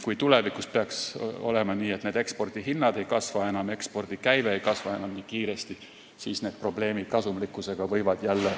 Kui tulevikus peaks olema nii, et ekspordihinnad enam ei kasva ja ekspordikäive ei kasva nii kiiresti, siis võivad jälle ilmneda probleemid kasumlikkusega.